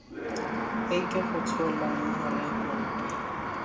e ke go tshola rekoto